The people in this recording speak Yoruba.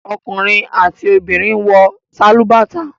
Ọkùnrin àti obìnrin ló ń wọ sálúbàtà.